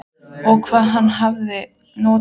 Og hvað hann hafði notað mig.